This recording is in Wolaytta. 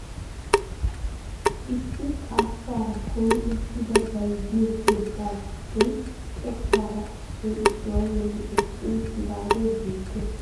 Issi xaassaara kumi uttidi bayzziyoo keettaa giddon xekkaara issoy issuwaa bolli eqqi uttidaagee beettees. Qassi ha dumma dumma meraara de'iyoo giishshawu dooridi shammanawu danddayettees.